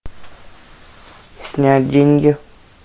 снять деньги